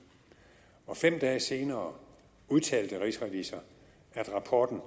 og fem dage senere udtalte rigsrevisor at rapporten